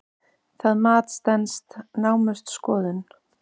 Það mat stenst naumast skoðun.